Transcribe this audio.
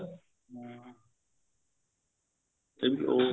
ਤੇ ਉਹ